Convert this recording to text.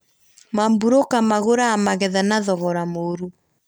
Maburũka magũraga magetha na thogora mũrũ